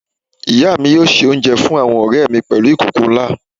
Ìya mi yóò se oúnjẹ fún àwọn ọ̀rẹ̀ mi pèlú ìkòkò nlá